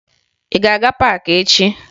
Ị ga-aga paakị echi!